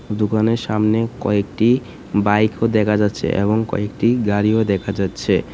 দোকানের সামনে কয়েকটি বাইকও দেখা যাচ্ছে এবং কয়েকটি গাড়িও দেখা যাচ্ছে।